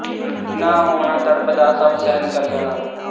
ਨਾ ਹੋਣਾ ਤੜਪ ਦਾ ਸਭ ਸਹਿਣ ਕਰ ਜਾਣਾ